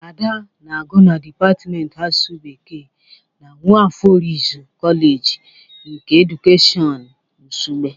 Ada na-agụ na dịpatịmentị asụsụ Bekee na Nwafor Orizu Koleji nke edukeshọn Nsugbe.